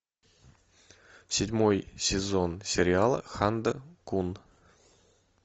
седьмой сезон сериала ханда кун